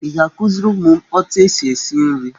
Ị ga-akuziri ụmụ m otu esi esi nri?